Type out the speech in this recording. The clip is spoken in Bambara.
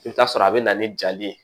I bɛ t'a sɔrɔ a bɛ na ni jali ye